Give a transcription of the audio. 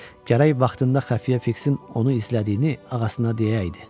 Gərək vaxtında xəfiyyə Fiksin onu izlədiyini ağasına deyəydi.